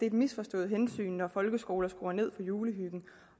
et misforstået hensyn når folkeskoler skruer ned for julehyggen